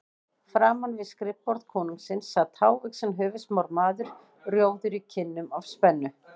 Framan við skrifborð konungsins sat hávaxinn höfuðsmár maður, rjóður í kinnum af spennu.